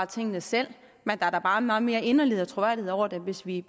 tingene selv men der er da bare meget mere inderlighed og troværdighed over det hvis vi